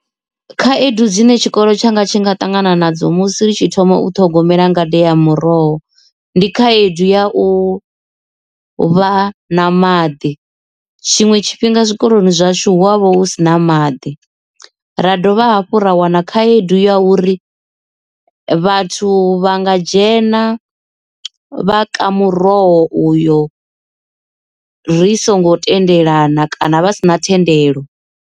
Khaedu dzine tshikolo tshanga tshi nga ṱangana nadzo musi ri tshi thoma u ṱhogomela ngade ya muroho ndi khaedu ya u vha na maḓi tshiṅwe tshifhinga zwikoloni zwashu hu avha hu sina maḓi ra dovha hafhu ra wana khaedu ya uri vhathu vha nga dzhena vha ka muroho uyo ri songo tendelana kana vha si na thendelo.